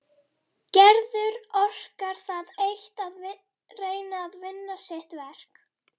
Gerður orkar það eitt að reyna að vinna sitt verk.